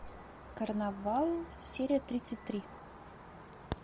карнавал серия тридцать три